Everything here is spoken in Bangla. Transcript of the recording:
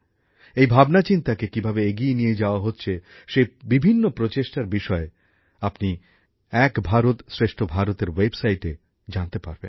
এই ভাবনাচিন্তাকে কিভাবে এগিয়ে নিয়ে যাওয়া হচ্ছে সেইরকম বিভিন্ন প্রচেষ্টার বিষয়ে আপনি এক ভারতশ্রেষ্ঠ ভারতএর ওয়েবসাইটে জানতে পারবেন